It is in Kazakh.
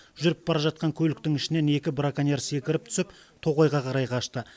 жүріп бара жатқан көліктің ішінен екі браконьер секіріп түсіп тоғайға қарай қашты